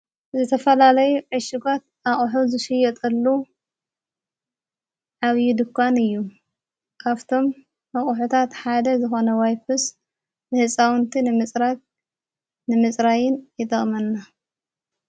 ዘተፈላለይ ዕሽጓት ኣቕሕ ዙሽ ዮጠሉ ዓብዪ ድኳን እዩይጠቕመና መቝሑታ ሓደ ዝኾነ ዋይፕስ ንሕፃውንቲ ንምጽራቅ ንምጽራይን ይጠቕመና።